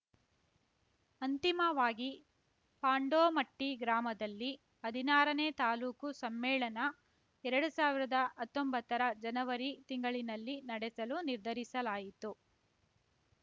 ಅಂತಿಮವಾಗಿ ಪಾಂಡೋಮಟ್ಟಿಗ್ರಾಮದಲ್ಲಿ ಹದಿನಾರನೇ ತಾಲೂಕು ಸಮ್ಮೇಳನ ಎರಡು ಸಾವಿರದ ಹತ್ತೊಂಬತ್ತರ ಜನವರಿ ತಿಂಗಳಿನಲ್ಲಿ ನಡೆಸಲು ನಿರ್ಧರಿಸಲಾಯಿತು